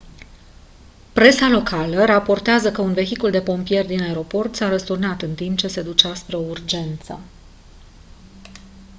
presa locală raportează că un vehicul de pompieri din aeroport s-a răsturnat în timp ce se ducea spre o urgență